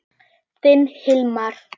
Þinn Hilmar.